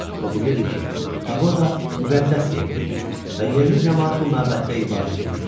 O bilirdi ki, paqoda müqəddəs yerdir və yerli camaat bu məbəddə ibadət eləyir.